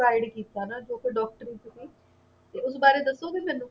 guide ਕੀਤਾ ਨਾ ਜੋ ਕਿ ਡਾਕਟਰੀ ਚ ਸੀ ਤੇ ਉਸ ਬਾਰੇ ਦੱਸੋਗੇ ਮੈਨੂੰ